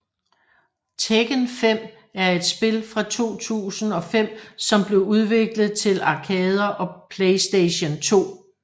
Tekken 5 er et spil fra 2005 som blev udviklet til arkader og PlayStation 2